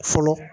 Fɔlɔ